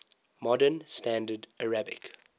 modern standard arabic